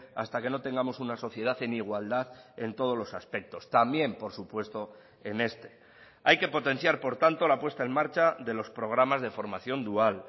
hasta que no tengamos una sociedad en igualdad en todos los aspectos también por supuesto en este hay que potenciar por tanto la puesta en marcha de los programas de formación dual